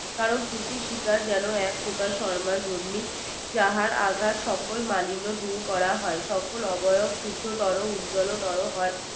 কারণ ত্রুটি শিকার যেনো এক প্রকার শর্মা জনি যাহার আঘাত সকল মানিন্য দূর করা হয় সকল শুদ্ধ তর উজ্জল তরও হয়